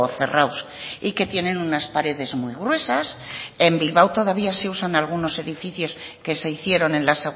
cerrados y que tienen unas paredes muy gruesas en bilbao todavía se usan algunos edificios que se hicieron en la